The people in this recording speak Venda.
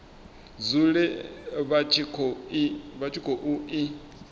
dzule vha tshi khou i